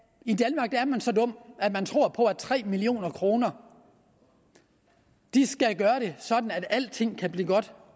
at man så dum at man tror på at tre million kroner skal gøre det sådan at alting kan blive godt